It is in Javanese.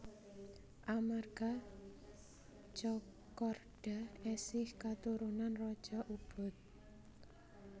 Amarga Tjokorda esih katurunan raja Ubud